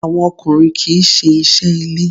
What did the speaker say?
Àwọn ọkùnrin kì í ṣe iṣẹ́ ilé.